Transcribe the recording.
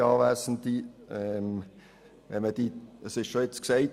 Es wurde bereits gesagt: